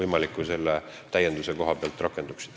Martin Helme, palun!